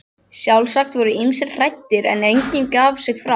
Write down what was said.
Sjálfsagt voru ýmsir hræddir, en enginn gaf sig fram.